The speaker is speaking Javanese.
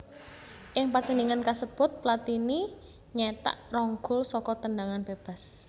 Ing pertandhingan kasebut Platini nyétak rong gol saka tendhangan bébas